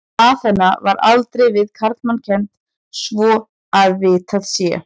Aþena var aldrei við karlmann kennd svo að vitað sé.